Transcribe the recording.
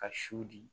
Ka su di